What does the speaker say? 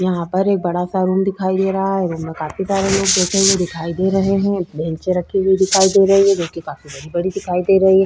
यहाँ पर एक बड़ा ऐसा रूम दिखा दे रहा है रूम में काफी सारे लोग बैठे हुए जो दे रहे हैं बेंचे रखी हुई दिखाई दे रही है जोकि काफी बड़ी-बड़ी दिखाई दे रही है।